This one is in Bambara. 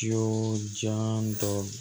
Du jan dɔw